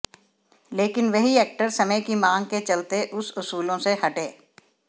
लेकिन वही एक्टर समय की मांग के चलते उस उसूलों से हटे